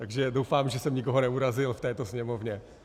Takže doufám, že jsem nikoho neurazil v této Sněmovně.